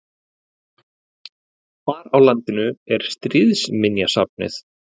Hvar á landinu er Stríðsminjasafnið?